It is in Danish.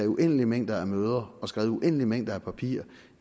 uendelige mængder af møder og skrevet uendelige mængder af papirer